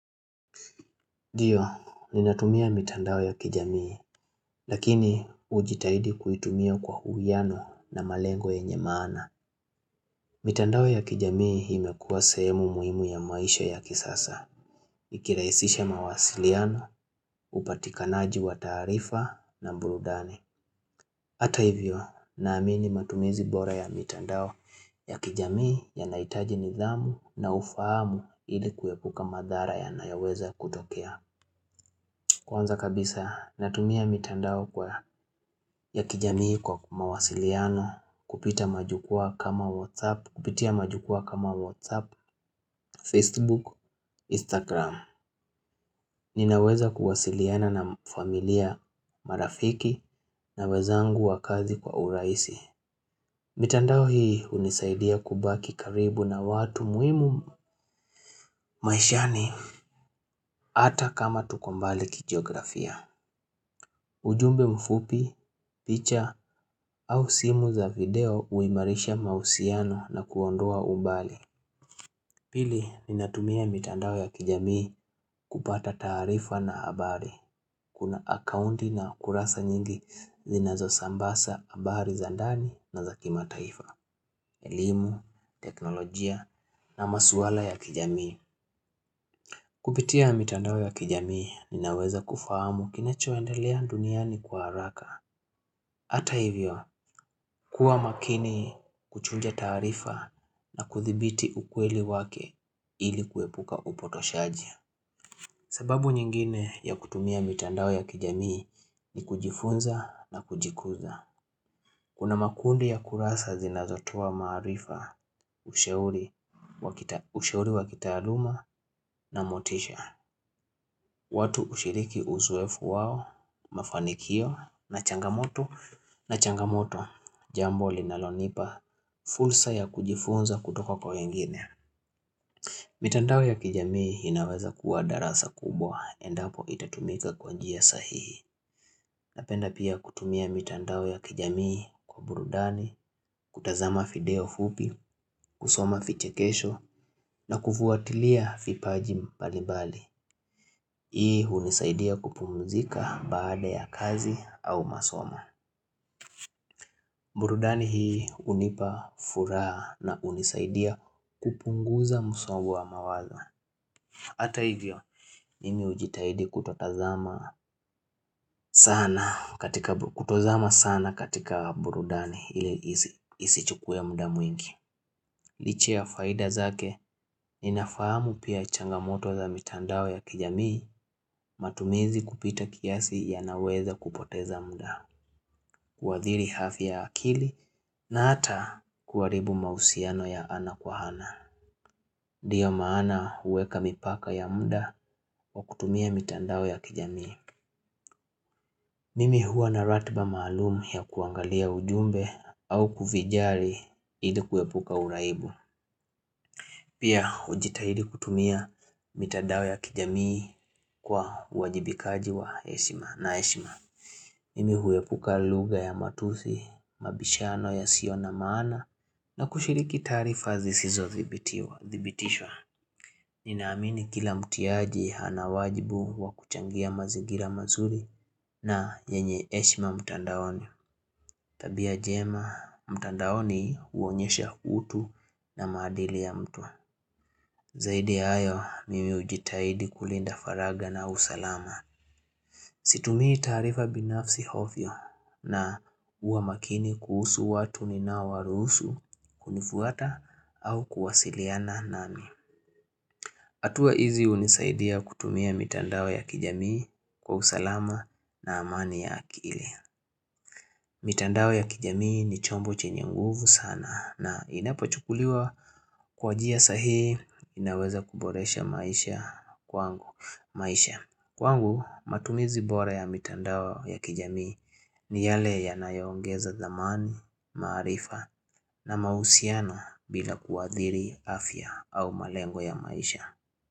Ndio, ninatumia mitandao ya kijamii, lakini ujitahidi kuitumia kwa huwiano na malengo enye maana. Mitandao ya kijamii imekuwa sehemu muhimu ya maisha ya kisasa, ikiraisisha mawasiliano, upatikanaji wa tarifa na burudanii. Hata hivyo, naamini matumizi bora ya mitandao ya kijamii ya naitaji nidhamu na ufahamu ilikuwekuka madhara ya nayaweza kutokea. Kwanza kabisa natumia mitandao kwa ya kijamii kwa mawasiliano kupitia majukua kama WhatsApp, Facebook, Instagram. Ninaweza kuwasiliana na familia marafiki na wezangu wa kazi kwa uraisi. Mitandao hii unizaidia kubaki karibu na watu muhimu maishani ata kama tuko mbali kigeografia. Ujumbe mfupi, picha au simu za video uimarisha mausiano na kuondoa umbali. Pili, ninatumia mitandao ya kijamii kupata taarifa na habari. Kuna akaunti na kurasa nyingi zinazo sambasa habari za ndani na za kimataifa, elimu, teknolojia na maswala ya kijamii. Kupitia mitandao ya kijamii ninaweza kufahamu kinachoendelea duniani kwa haraka. Hata hivyo, kuwa makini kuchunja tarifa na kuthibiti ukweli wake ili kuepuka upotoshaji. Sababu nyingine ya kutumia mitandao ya kijamii ni kujifunza na kujikuza. Kuna makundi ya kurasa zinazotua maarifa ushauri wa kitaluuma na motisha. Watu ushiriki uzoefu wao, mafanikio, na changamoto, na changamoto, jambo linalonipa, fursa ya kujifunza kutoko kwa wengine. Mitandao ya kijamii inawaza kuwa darasa kubwa, endapo itatumika kwanjia sahihi. Napenda pia kutumia mitandao ya kijamii kwa burudani, kutazama video fupi, kusoma vichekesho, na kufuatilia fipaji mbalibali. Hii unizaidia kupumzika baada ya kazi au masoma burudani hii unipa furaha na unizaidia kupunguza musohau wa mawazo Ata hivyo, mimi ujitahidi kutozama sana katika burudani ili isichukua muda mwingi Liche ya faida zake, ninafahamu pia changamoto za mitandao ya kijamii matumizi kupita kiasi ya naweza kupoteza muda kuadhiri hafi ya akili na ata kuwaribu mausiano ya ana kwa hana Ndio maana uweka mipaka ya muda wa kutumia mitandao ya kijamii Mimi huwa naratiba malumu ya kuangalia ujumbe au kufijari ili kuepuka uraibu Pia ujitahidi kutumia mitandao ya kijamii kwa wajibikaji wa heshima na heshima Mimi huepuka lugha ya matusi, mabishano ya siona maana na kushiriki tarifa zisizo thibitishwa. Ninaamini kila mtiaji hana wajibu wa kuchangia mazigira mazuri na yenye heshima mtandaoni. Tabia jema, mtandaoni huonyesha utu na madili ya mtu. Zaidi ya hayo, mimi ujitahidi kulinda faraga na usalama. Situmii tarifa binafsi ovyo na uwa makini kuhusu watu nina warusu kunifuata au kuwasiliana nami. Atua hizi unizaidia kutumia mitandao ya kijamii kwa usalama na amani ya akili. Mitandao ya kijamii ni chombo chenye nguvu sana na inapachukuliwa kwa jia sahihi inaweza kuboresha maisha kwangu. Kwangu matumizi bore ya mitandao ya kijamii ni yale ya nayongeza zamani, maarifa na mausiano bila kuadhiri afya au malengo ya maisha.